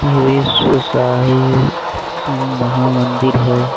ये महामंदिर है।